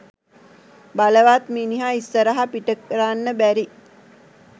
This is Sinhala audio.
බලවත් මිනිහ ඉස්සරහ පිටකරන්න බැරි